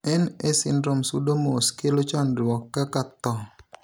NA syndrome sudo mos kelo chandruok kaka thoo.